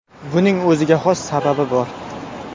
Buning o‘ziga xos sababi bor.